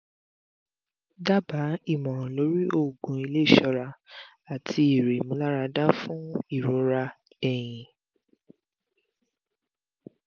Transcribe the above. daba ìmọ̀ràn lórí oògùn ilé isora ati ere imularada fún ìrora ẹ̀yìn